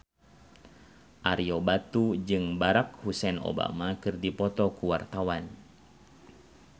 Ario Batu jeung Barack Hussein Obama keur dipoto ku wartawan